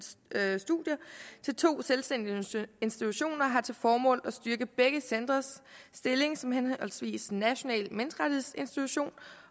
studier til to selvstændige institutioner har til formål at styrke begge centres stilling som henholdsvis national menneskerettighedsinstitution